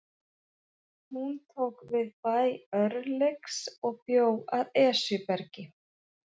Hún tók við bæ Örlygs og bjó að Esjubergi.